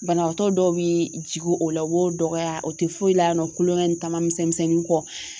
Banabaatɔ dɔw bee jigin o la u b'o dɔgɔya o te foyi la kulonkɛ ni taamamisɛnnin kɔ